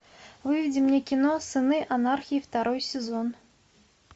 выведи мне кино сыны анархии второй сезон